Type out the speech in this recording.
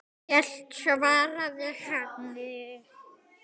Hann er hérna svaraði hann.